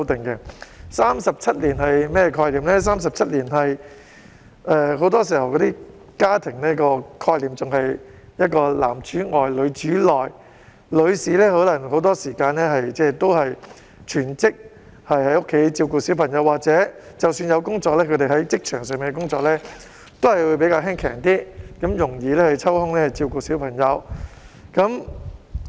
在37年前，家庭概念仍然是男主外、女主內，女士很多時候也要全職在家照顧小孩，即使有工作，她們在職場上的工作也會較簡單，容易抽空照顧小孩。